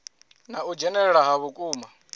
na u dzhenelela ha vhukuma